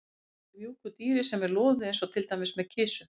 Að kúra með mjúku dýri sem er loðið eins og til dæmis með kisu.